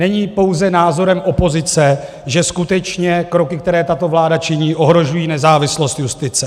Není pouze názorem opozice, že skutečně kroky, která tato vláda činí, ohrožují nezávislost justice.